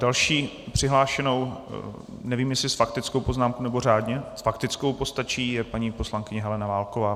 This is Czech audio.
Další přihlášenou, nevím, jestli s faktickou poznámkou, nebo řádně - s faktickou postačí - je paní poslankyně Helena Válková.